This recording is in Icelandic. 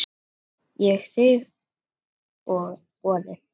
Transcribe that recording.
Ég þigg boðið.